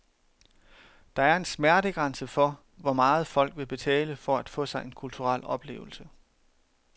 Der er en smertegrænse for, hvor meget folk vil betale for at få sig en kulturel oplevelse.